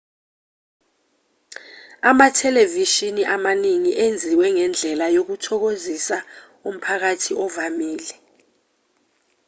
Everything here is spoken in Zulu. amathelevishini amaningi enziwe ngendlela yokuthokozisa umphakathi ovamile